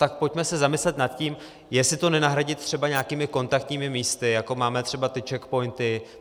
Tak pojďme se zamyslet nad tím, jestli to nenahradit třeba nějakými kontaktními místy, jako máme třeba ty czechpointy.